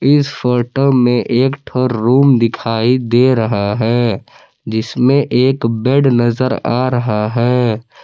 इस फोटो में एक ठो रूम दिखाई दे रहा है जिसमें एक बेड नजर आ रहा है।